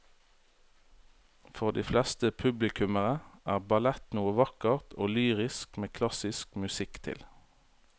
For de fleste publikummere er ballett noe vakkert og lyrisk med klassisk musikk til.